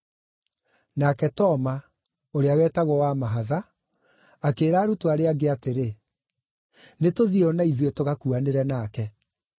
Nake Toma (ũrĩa wetagwo Wa-mahatha) akĩĩra arutwo arĩa angĩ atĩrĩ, “Nĩtũthiĩi o na ithuĩ, tũgakuanĩre nake.”